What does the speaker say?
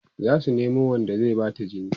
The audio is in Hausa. zasu Nemo Wanda zai Bata jini